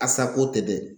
A sago tɛ dɛ